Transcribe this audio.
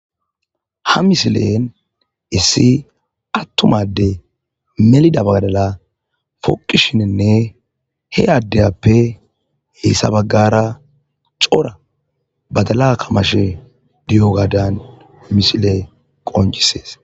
ha misilen issi attum ade melida badala foqishininne he adappe hissa baggara cora badala kamashe diyo gaadan misile qoncisees